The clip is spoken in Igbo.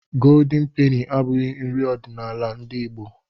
Goldeni peni abụghị nri ọdiṇala ndị Igbo